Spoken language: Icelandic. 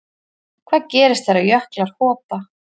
Hvað gerist þegar jöklar hopa?